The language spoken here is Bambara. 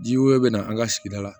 Ji wɛrɛ bɛ na an ka sigida la